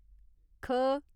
ख